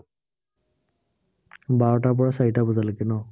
বাৰটাৰ পৰা চাৰিটা বজালৈকে ন?